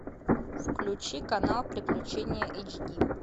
включи канал приключения эйч ди